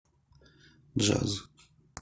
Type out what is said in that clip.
джаз